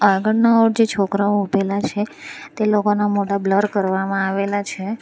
આગળના ઓર જે છોકરાઓ ઉભેલા છે તે લોકોના મોઢા બ્લર કરવામાં આવેલા છે.